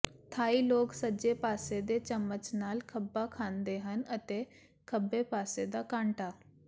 ਥਾਈ ਲੋਕ ਸੱਜੇ ਪਾਸੇ ਦੇ ਚਮਚ ਨਾਲ ਖੱਬਾ ਖਾਂਦੇ ਹਨ ਅਤੇ ਖੱਬੇ ਪਾਸੇ ਦਾ ਕਾਂਟਾ